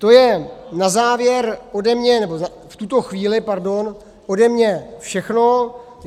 To je na závěr ode mě, nebo v tuto chvíli, pardon, ode mě všechno.